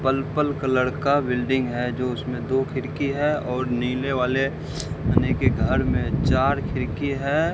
Purple colour का building है जो उसमें दो खिड़की है और नीले वाले आने के घर में चार खिड़की है।